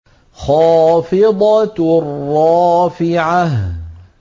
خَافِضَةٌ رَّافِعَةٌ